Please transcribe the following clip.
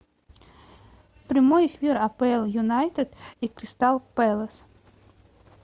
прямой эфир апл юнайтед и кристал пэлас